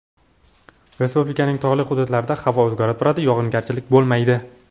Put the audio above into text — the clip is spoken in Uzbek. Respublikaning tog‘li hududlarida havo o‘zgarib turadi, yog‘ingarchilik bo‘lmaydi.